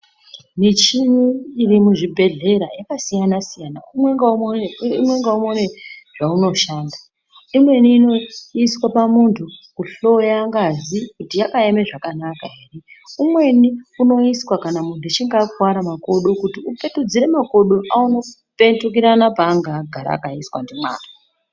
Michini iri muzvibhedhlera yakasiyana siyana umwe ngaumwe umwe ngaumwe une zvaunoshanda umweni unoiswe pamuntu kuhloya ngazi kuti yakaeme zvakanaka ere. Umweni unoiswa kana muntu achinge akuwara makodo kuti upetudzire makodo aone kupetukirana paanga agara akaiswa ndimwari.